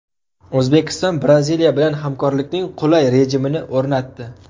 O‘zbekiston Braziliya bilan hamkorlikning qulay rejimini o‘rnatdi.